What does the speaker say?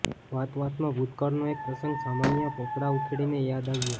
વાતવાતમાં ભૂતકાળનો એક પ્રસંગ સમયનાં પોપડાં ઉખેડીને યાદ આવ્યો